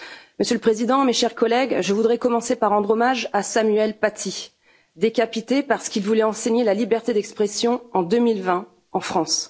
Monsieur le Président, mes chers collègues, je voudrais commencer par rendre hommage à Samuel Paty, décapité parce qu'il voulait enseigner la liberté d'expression, en 2020, en France.